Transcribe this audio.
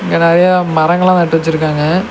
இங்க நெறைய மரங்களா நட்டு வச்சிருக்காங்க.